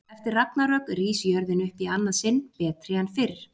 Eftir ragnarök rís jörðin upp í annað sinn, betri en fyrr.